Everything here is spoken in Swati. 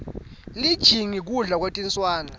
lijingi kudla kwetinswane